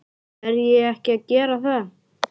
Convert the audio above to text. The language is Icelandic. Verð ég ekki að gera það?